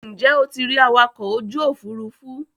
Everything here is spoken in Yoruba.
Ǹjẹ́ o ti rí awakọ̀ ojú òfurufú.